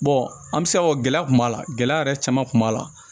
an bɛ se ka fɔ gɛlɛya kun b'a la gɛlɛya yɛrɛ caman tun b'a la